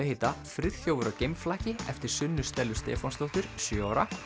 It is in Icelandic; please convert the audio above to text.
heita Friðþjófur á eftir Sunnu Stellu Stefánsdóttur sjö ára